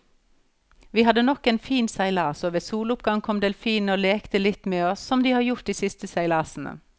Vi hadde nok en fin seilas, og ved soloppgang kom delfinene og lekte litt med oss som de har gjort de siste seilasene.